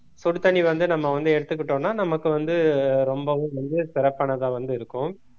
சுடுதண்ணி வந்து நம்ம வந்து எடுத்துக்கிட்டோம்னா நமக்கு வந்து ரொம்பவும் வந்து சிறப்பானதா வந்து இருக்கும்